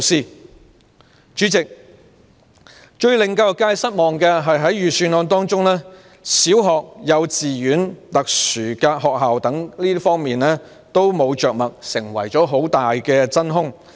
代理主席，最令教育界失望的是，預算案沒有就小學、幼稚園、特殊學校等着墨，成為很大的真空。